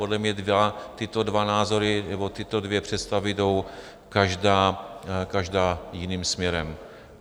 Podle mě tyto dva názory nebo tyto dvě představy jdou každá jiným směrem.